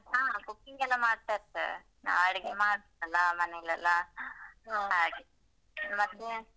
ಹ cooking ಗೆಲ್ಲ ಮಾಡ್ತಾ ಇರ್ತೇವೆ. ನಾವ್ ಅಡಿಗೆ ಮಾಡ್ತೇವಲ್ಲಾ ಮನೆಯಲ್ಲೆಲ್ಲ ಹಾಗೆ ಮತ್ತೆ.